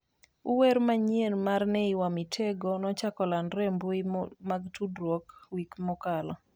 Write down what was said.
Uwer manyien mar Ney wa Mitego, nochako landore e mbui mag tudruok wik mokalo.